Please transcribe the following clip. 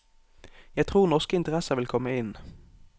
Jeg tror norske interesser vil komme inn.